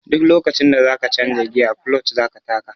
Duk lokacin da za ka canja giya kuloc za ka taka.